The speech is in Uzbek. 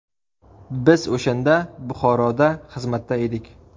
Biz o‘shanda Buxoroda xizmatda edik.